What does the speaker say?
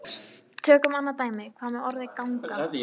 Tökum annað dæmi: Hvað með orðið ganga?